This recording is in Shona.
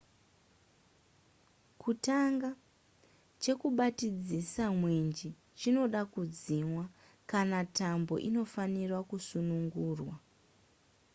kutanga chekubatidzisa mwenje chinoda kudzimwa kana tambo inofanirwa kusunungurwa